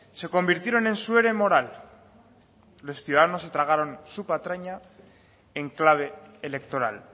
se convirtieron en su ere moral los ciudadanos se tragaron su patraña en clave electoral